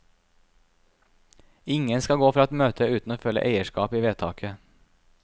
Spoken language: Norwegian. Ingen skal gå fra et møte uten å føle eierskap i vedtaket.